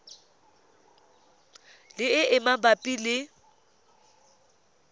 le e e mabapi le